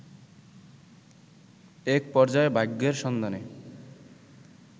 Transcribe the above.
এক পর্যায়ে ভাগ্যের সন্ধানে